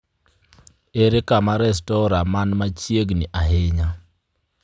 ere kama restora man machiegni ahinya?